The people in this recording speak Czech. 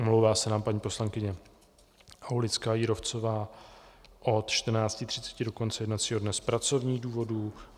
Omlouvá se nám paní poslankyně Aulická Jírovcová od 14.30 do konce jednacího dne z pracovních důvodů.